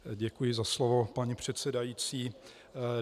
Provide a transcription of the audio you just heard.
Děkuji za slovo, paní předsedající.